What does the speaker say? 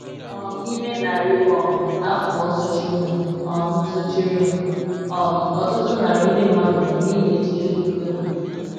um N’ime narị um afọ sochirinụ, um sochirinụ, um ọtụtụ narị ndị mmadụ nwụrụ n’ihi echiche okpukpe ha.